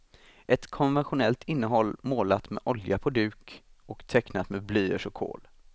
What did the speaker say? Ett konventionellt innehåll målat med olja på duk och tecknat med blyerts och kol.